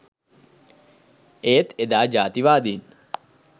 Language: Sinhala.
ඒත් එදා ජාතිවාදීන්